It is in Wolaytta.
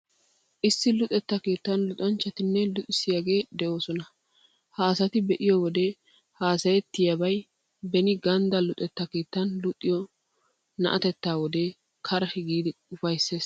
Issi luxetta keettan luxanchchatinne luxissiyagee de'oosona. Ha asata be'iyoo wode hassayettiyaabay beni ganddaa luxetta keettan luxido naateettaa wode karhi giidi ufayssees.